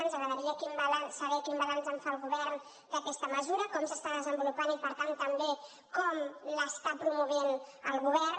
ens agradaria saber quin balanç en fa el govern d’aquesta mesura com s’està desenvolupant i per tant també com l’està promovent el govern